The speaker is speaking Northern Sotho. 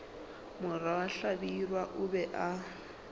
morwa hlabirwa o be a